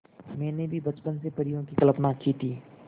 मैंने भी बचपन से परियों की कल्पना की थी